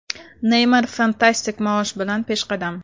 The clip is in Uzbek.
Neymar fantastik maosh bilan peshqadam.